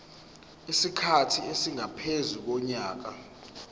isikhathi esingaphezu konyaka